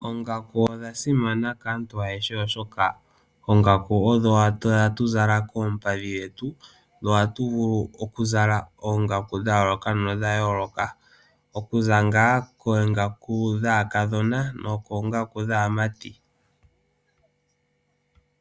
Oongaku odha simana kaantu ayehe oshoka , oongaka odho hatu zala koompadhi dhetu, dho ohatu vulu okuzala oongaku dhayoloka no dhayoloka, oku za ngaa kongaku dhaakadhona nokongaku dhaamati.